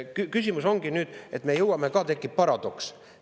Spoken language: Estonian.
Küsimus ongi selles, et tekib paradoks.